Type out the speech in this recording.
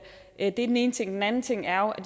det er den ene ting den anden ting er at